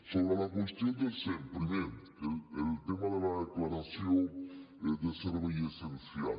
sobre la qüestió del sem primer el tema de la declaració de servei essencial